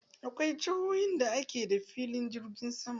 Akwai jihohin da ke da filin jirgin sama.